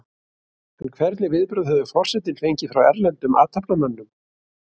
En hvernig viðbrögð hefur forsetinn fengið frá erlendum athafnamönnum?